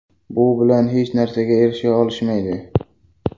Bu bilan hech narsaga erisha olishmaydi.